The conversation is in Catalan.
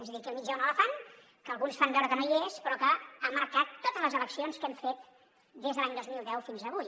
és a dir aquí al mig hi ha un elefant que alguns fan veu·re que no hi és però que ha marcat totes les eleccions que hem fet des de l’any dos mil deu fins avui